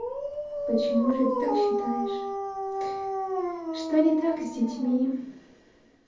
почему же ты так считаешь что не так с детьми